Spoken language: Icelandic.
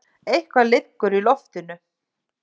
Eitthvað liggur í loftinu!